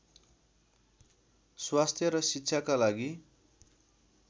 स्वास्थ्य र शिक्षाका लागि